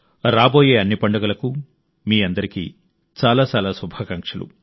రాబోయే అన్ని పండుగలకు మీ అందరికీ చాలా చాలా శుభాకాంక్షలు